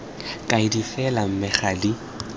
kaedi fela mme ga di